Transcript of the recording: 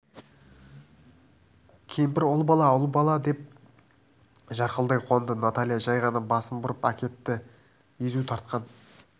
кемпір ұл бала ұл деп жарқылдай қуанды наталья жай ғана басын бұрып әкетті езу тартқан